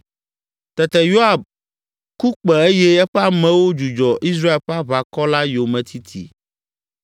Tete Yoab ku kpẽ eye eƒe amewo dzudzɔ Israel ƒe aʋakɔ la yometiti.